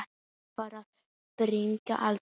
Svarað var að bragði: aldrei.